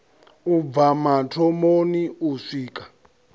u bva mathomoni u swika